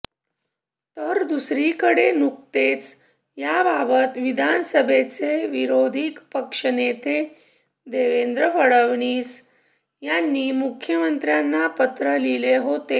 तर दुसरीकडे नुकतेच याबाबत विधानसभेचे विरोधी पक्षनेते देवेंद्र फडणवीस यांनी मुख्यमंत्र्यांना पत्र लिहिले होते